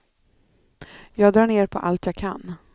Jag drar ner på allt jag kan.